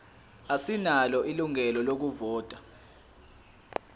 asinalo ilungelo lokuvota